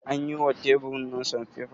An yi wa teburin nan sanfefa?